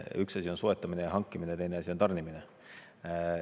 Üks asi on soetamine ja hankimine, teine asi on tarnimine.